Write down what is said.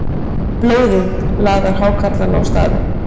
Blóðið laðar hákarlana á staðinn.